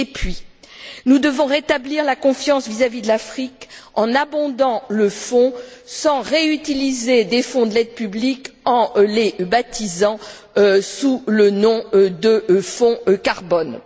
Et puis, nous devons rétablir la confiance vis à vis de l'Afrique en abondant le fonds sans réutiliser des fonds de l'aide publique en les baptisant sous le nom de fonds carbone.